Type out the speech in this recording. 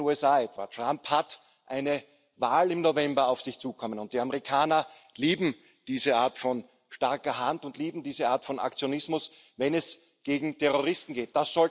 In den USA etwa sieht Trump eine Wahl im November auf sich zukommen, und die Amerikaner lieben diese Art von starker Hand und lieben diese Art von Aktionismus, wenn es gegen Terroristen geht.